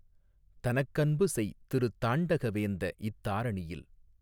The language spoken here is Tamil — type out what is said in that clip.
தனக்கன்புசெய் திருத்தாண்டக வேந்த இத்தாரணியில்